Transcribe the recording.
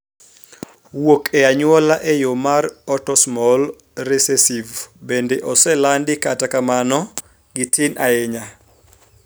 Wuok e anyuola e yo mar autosomal recessive bende oselandi kata kamano gitin ahinya